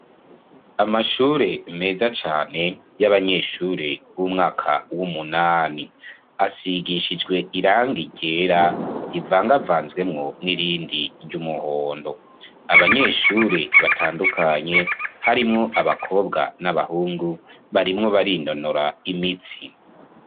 Amshure meza cane y'abanyeshure b'umwaka w'umunani, asigishijwe irangi ryera rivangavanzwemwo n'irindi ry'umuhondo. Abanyeshure batandukanye harimwo abakobwa n'abahungu barimwo barinonora imitsi.